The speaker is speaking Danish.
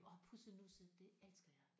Og pussenusse det elsker jeg